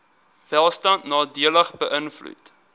welstand nadelig beïnvloed